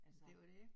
Det jo det